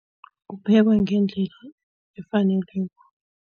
Kuphekwa ngendlela efaneleko.